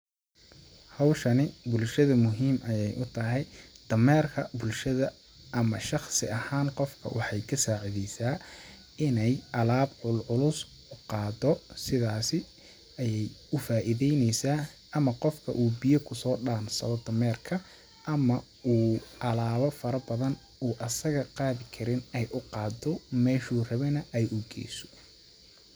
Hawshani bulshada muhiim ayeey u tahay, dameerka bulshada ama shaqsi ahaan qofka waxeey ka saacideysaa ineey alaab culculus u qaado ,sidaasi ayeey u faaideyneysaa ,ama qofka uu biya kusoo dhaansado oo dameerka ama uu alaaba fara badan uu asaga qaadi karin ay u qaado ,meeshuu rabane ay u geeyso.